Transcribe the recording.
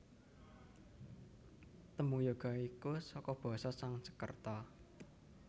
Tembung yoga iku saka basa Sangskreta